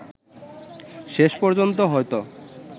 শেষ পর্যন্ত হয়তো